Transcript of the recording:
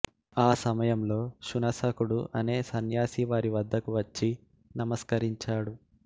ఆ సమయంలో శునస్సకుడు అనే సన్యాసి వారి వద్దకు వచ్చి నమస్కరించాడు